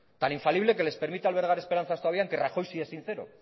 tan infalible que les permite albergar esperanzas todavía en que rajoy sí es sincero